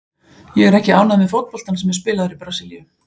Ég er ekki ánægður með fótboltann sem er spilaður í Brasilíu.